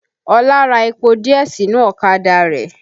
Ọlá ra epo díẹ̀ sínú ọ̀kadà rẹ̀